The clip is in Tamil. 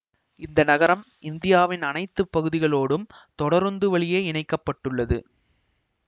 இந்த நகரம் இந்தியாவின் அனைத்து பகுதிகளோடும் தொடருந்து வழியே இணைக்க பட்டுள்ளது